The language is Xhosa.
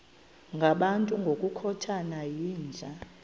ngabantu ngokukhothana yinja